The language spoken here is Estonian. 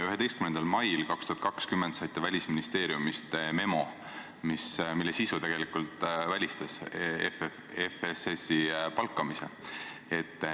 11. mail 2020 saite Välisministeeriumist memo, mille sisu tegelikult välistas FSS-i palkamise.